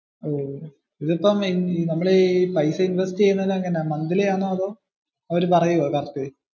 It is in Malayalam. ഇതിപ്പോ അതിൽ ഇൻവെസ്റ്റ് ചെയുന്നത് എങ്ങനാ? മോന്ത്ൽി ആണോ അവര് പറയുവോ?